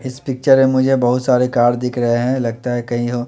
इस पिक्चर में मुझे बहुत सारे कार दिख रहे हैं लगता है कहीं ह--